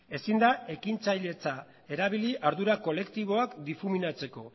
ezin da ekintzailetza erabili ardura kolektiboa difuminatzeko